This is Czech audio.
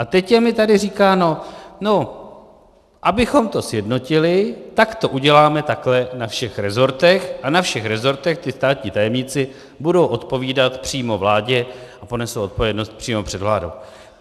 A teď je mi tady říkáno: No, abychom to sjednotili, tak to uděláme takhle na všech resortech a na všech resortech ti státní tajemníci budou odpovídat přímo vládě a ponesou odpovědnost přímo před vládou.